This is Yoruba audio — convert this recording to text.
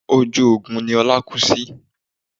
Ojú ogun ni Ọlá kú sí